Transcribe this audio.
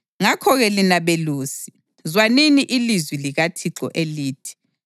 ngakho-ke lina belusi, zwanini ilizwi likaThixo elithi: